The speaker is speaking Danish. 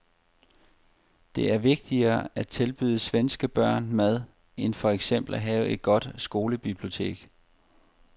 Det er vigtigere at tilbyde svenske børn mad end for eksempel at have et godt skolebibliotek.